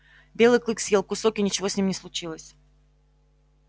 белый клык съел кусок и ничего с ним не случилось